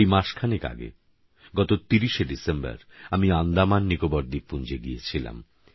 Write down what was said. এই মাসখানেক আগে গত ৩০শে ডিসেম্বর আমি আন্দামাননিকোবর দ্বীপপুঞ্জে গিয়েছিলাম